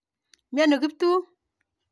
Miani Kiptum.